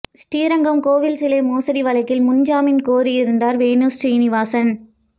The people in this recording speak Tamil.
ஸ்ரீரங்கம் கோவில் சிலை மோசடி வழக்கில் முன் ஜாமீன் கோரியிருந்தார் வேணு சீனிவாசன்